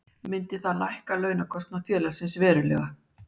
Myndi það lækka launakostnað félagsins verulega.